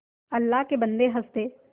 अल्लाह के बन्दे हंस दे